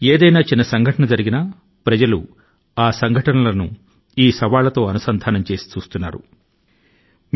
ఏదైనా చిన్న సంఘటన జరిగినా ప్రజలు ఆ సంఘటనల ను ఈ సవాళ్ళ తో అనుసంధానం చేసి చూస్తున్న దశ లో మనం ఉన్నాము